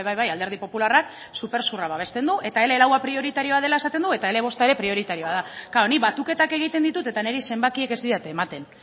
bai alderdi popularrak supersurra babesten du eta ele lau prioritarioa dela esaten du eta ele bosta ere prioritarioa da nik batuketak egiten ditut eta niri zenbakiek ez didate ematen